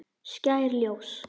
Skær ljós.